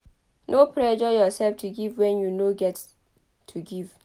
No pressure yourself to give when you no get to give